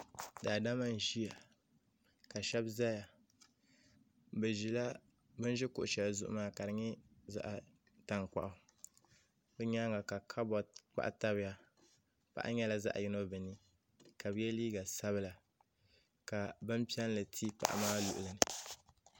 daama n ʒɛya la shɛbi zaya be ʒɛla bɛn ʒɛ kuɣ' shɛli zuɣ' maa ka di nyɛ zaɣ' tankpagu be nyɛŋa ka kabutɛ kpahi tabiya paɣ' nyɛla zaɣ' yino be ni ka be yɛ liga sabilinla ka bɛn piɛli ti paɣ' maa luɣili